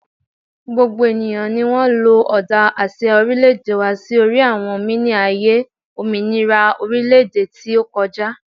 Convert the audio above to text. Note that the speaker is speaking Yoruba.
gbogbo eniyan ni won lo oda asia orileede wa si ori won mini aye ominira orileede wa ti o koja